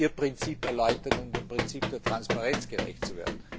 Könnten Sie Ihr Prinzip erläutern, um dem Prinzip der Transparenz gerecht zu werden?